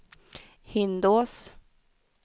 Hindås